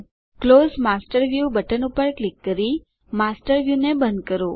close master view button પર click કરી master view ને બંધ કરો